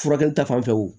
Furakɛli ta fan fɛ